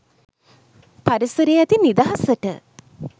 පරිසරයේ ඇති නිදහසට